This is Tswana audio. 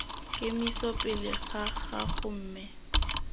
kemiso pele ga gago mme